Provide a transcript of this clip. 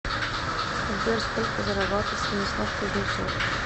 сбер сколько зарабатывает станислав кузнецов